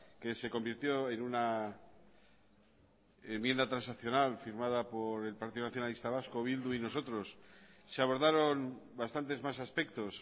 que se convirtió en una enmienda transaccional firmada por el partido nacionalista vasco bildu y nosotros se abordaron bastantes más aspectos